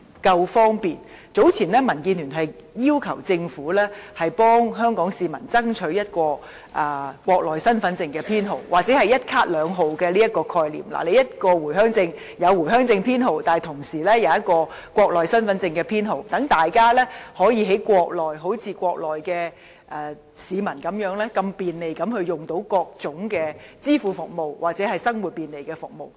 早前民主建港協進聯盟要求政府為香港市民爭取一個國內身份證編號，提出"一卡兩號"的概念，一張回鄉卡既有回鄉卡編號，同時亦有國內身份證編號，讓大家在國內可以好像國內市民般，便利地使用各種支付服務或便利生活的服務。